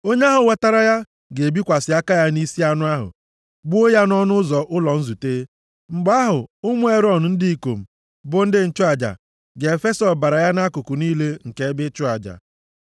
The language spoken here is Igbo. Onye ahụ wetara ya, ga-ebikwasị aka ya nʼisi anụ ahụ, gbuo ya nʼọnụ ụzọ ụlọ nzute. Mgbe ahụ ụmụ Erọn ndị ikom, bụ ndị nchụaja, + 3:2 \+xt Lev 1:5\+xt* ga-efesa ọbara ya nʼakụkụ niile nke ebe ịchụ aja.